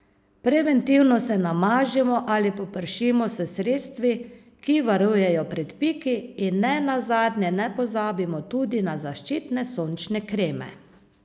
Preventivno se namažimo ali popršimo s sredstvi, ki varujejo pred piki, in ne nazadnje ne pozabimo tudi na zaščitne sončne kreme.